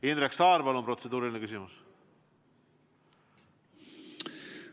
Indrek Saar, palun, protseduuriline küsimus!